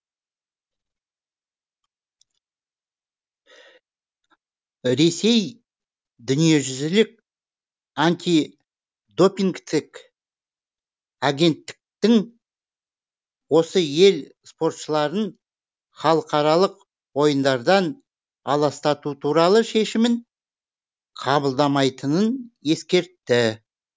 ресей дүниежүзілік антидопингтік агенттіктің осы ел спортшыларын халықаралық ойындардан аластату туралы шешімін қабылдамайтынын ескертті